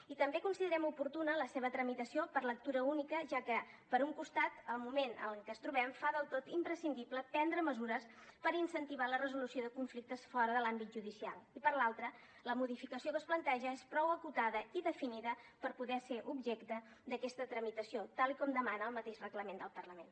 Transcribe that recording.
i també considerem oportuna la seva tramitació per lectura única ja que per un costat el moment en el que ens trobem fa del tot imprescindible prendre mesures per incentivar la resolució de conflictes fora de l’àmbit judicial i per l’altre la modificació que es planteja és prou acotada i definida per poder ser objecte d’aquesta tramitació tal com demana el mateix reglament del parlament